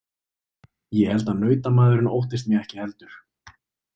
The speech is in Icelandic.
Ég held að nautamaðurinn óttist mig ekki heldur.